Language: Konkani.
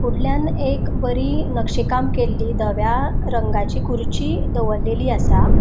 फुडल्याण एक बरि नक्षी काम केल्ली धव्या रंगाची खुर्ची दवरलेली आसा.